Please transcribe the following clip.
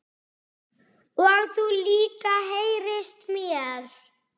Og þú líka heyrist mér